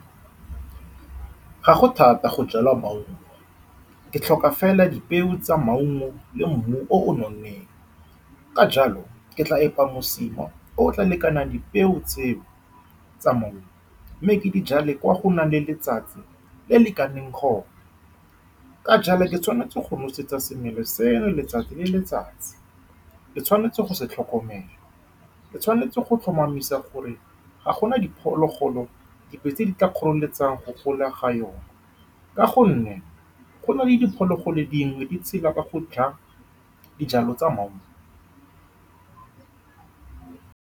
Ga go thata go jala maungo, ke tlhoka fela dipeo tsa maungo le mmu o o nonneng. Ka jalo, ke tla epa mosima o o tla lekanang dipeo tseo tsa maungo mme ke dijale kwa go nang le letsatsi le le lekaneng . Ka jalo, ke tshwanetse go nosetsa semelo seno letsatsi le letsatsi, ke tshwanetse go se tlhokomela, mme ke tshwanetse go tlhomamisa gore ga gona diphologolo dingwe tse di tla kgoreletsang go gola ga yone, ka gonne go na le diphologolo dingwe di tshela ka go ja dijalo tsa maungo.